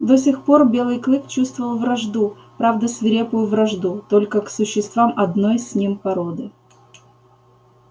до сих пор белый клык чувствовал вражду правда свирепую вражду только к существам одной с ним породы